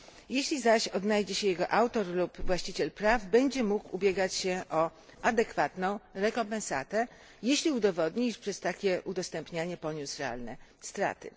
Jeśli zaś odnajdzie się jego autor lub właściciel praw, będzie mógł on ubiegać się o adekwatną rekompensatę, jeśli udowodni, że przez takie udostępnianie poniósł realne straty.